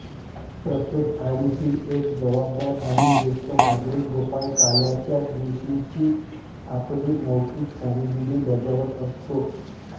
प्रत्येक आळीतील एक जबाबदार आणि जेष्ठ नागरिक गोपाळकाल्याच्या दिवशीची आपली मौलिक कामगिरी बजावत असतो